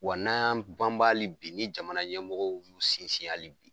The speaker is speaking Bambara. Wa n'an yan banban hali bi, ni jamana ɲɛmɔgɔw y'u sinsin hali bi